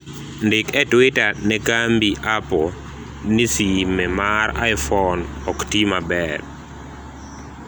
ndik e twita ne kambi apple ni sime mar aifon ok tii maber